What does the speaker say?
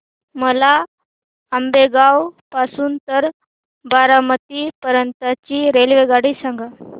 मला आंबेगाव पासून तर बारामती पर्यंत ची रेल्वेगाडी सांगा